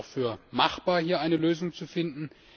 Ich halte es auch für machbar, hier eine Lösung zu finden.